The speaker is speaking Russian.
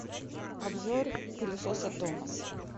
обзор пылесоса томас